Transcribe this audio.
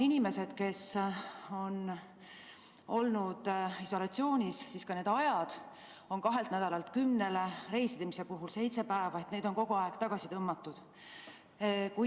Inimesed, kes on olnud isolatsioonis – see aeg on vähenenud kahelt nädalalt kümnele päevale, reisimise puhul seitsmele päevale, seda on kogu aeg tagasi tõmmatud.